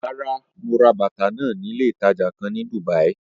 Rárá, mo ra bàtà náà ní ilé ìtajà kan ní Dùbàí.